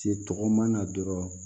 Se tɔgɔma la dɔrɔn